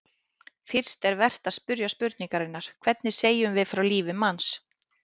Fyrst er vert að spyrja spurningarinnar: hvernig segjum við frá lífi manns?